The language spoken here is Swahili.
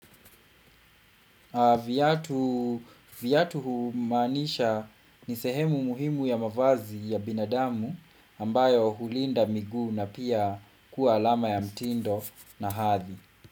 Viatu humaanisha ni sehemu muhimu ya mavazi ya binadamu ambayo hulinda miguu na pia kuwa alama ya mtindo na hathi.